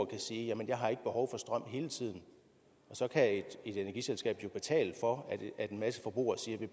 kan sige jamen jeg har ikke behov for strøm hele tiden så kan et energiselskab jo betale for at en masse forbrugere siger